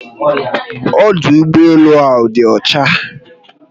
Ọdụ ụgbọelu áhù dị ọcha